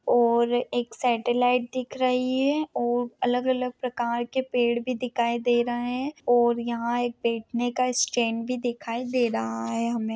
और एक सेटेलाइट दिख रही है। और अलग अलग प्रकार के पेड़ भी दिखाई दे रहे है। और यहा बेठने का एक स्टैंड भी दिखाई दे रहा है हमे।